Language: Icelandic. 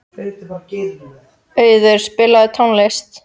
Auður, spilaðu tónlist.